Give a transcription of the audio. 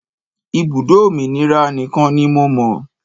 Ibùdó òmìnira nìkan ni mo mọ̀.